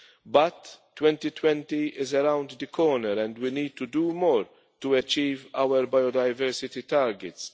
EU. But 2020 is around the corner and we need to do more to achieve our biodiversity targets.